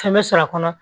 Fɛn bɛ sɔr'a kɔnɔ